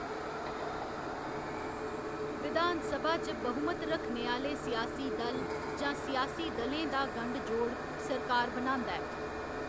विधान सभा च बहुमत रक्खने आह्‌‌‌ले सियासी दल जां सियासी दलें दा गंढ जोड़ सरकार बनांदा ऐ।